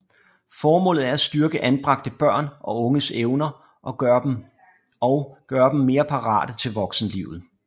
Formålet er at styrke anbragte børn og unges egne evner og og gøre dem mere parate til voksenlivet